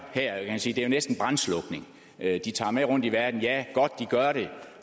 er jo næsten brandslukning ja de tager med rundt i verden og det er godt